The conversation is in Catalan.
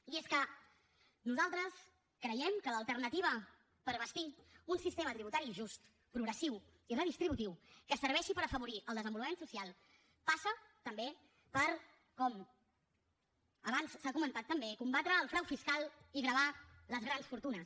i és que nosaltres creiem que l’alternativa per bastir un sistema tributari just progressiu i redistributiu que serveixi per afavorir el desenvolupament social passa també per com abans s’ha comentat també combatre el frau fiscal i gravar les grans fortunes